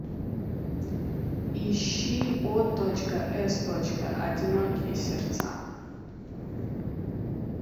ищи о точка с точка одинокие сердца